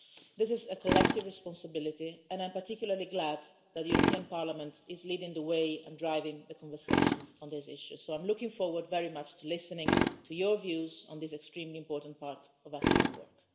This is a collective responsibility and I'm particularly glad that the European Parliament is leading the way and driving the conversation on this issue, so I am looking forward very much to listening to your views on this extremely important part of our common work.